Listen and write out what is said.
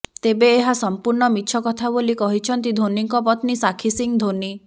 ତେବେ ଏହା ସମ୍ପୂର୍ଣ୍ଣ ମିଛ କଥା ବୋଲି କହିଛନ୍ତି ଧୋନିଙ୍କ ପତ୍ନୀ ସାକ୍ଷୀ ସିଂହ ଧୋନି